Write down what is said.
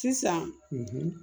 Sisan